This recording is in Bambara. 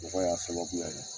Bɔgɔ y'a sababuya ye.